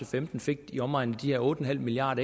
femten fik i omegnen af de her otte milliard